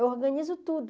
Eu organizo tudo.